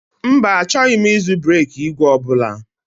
Mba, achọghị m ịzụ bereki ìgwè ọ bụla